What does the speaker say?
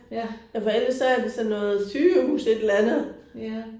Ja. Ja